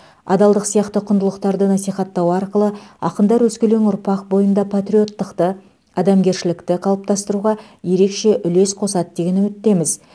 адалдық сияқты құндылықтарды насихаттау арқылы ақындар өскелең ұрпақ бойында патриоттықты адамгершілікті қалыптастыруға ерекше үлес қосады деген үміттеміз